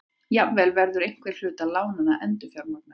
Jafnvel verður einhver hluti lánanna endurfjármagnaður